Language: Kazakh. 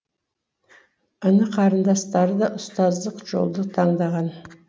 іні қарындастары да ұстаздық жолды таңдаған